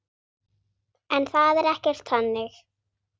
En það er ekkert þannig.